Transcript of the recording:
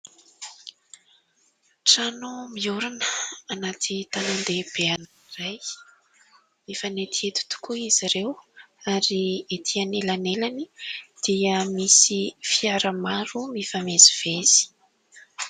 Trano miorina anaty tanan-dehibe anankiray, mifanetinety tokoa izy ireo ary etỳ anelanelany dia misy fiara maro mifamezivezy.